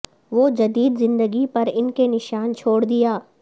وہ جدید زندگی پر ان کے نشان چھوڑ دیا